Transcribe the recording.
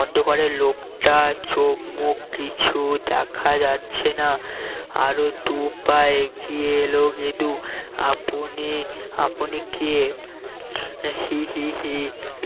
অন্ধকারে লোকটার চোখ মুখ কিছুই দেখা যাচ্ছে না আরো দুই পা এগিয়ে এলো গেদু আপনি আপনি কে হি হি হি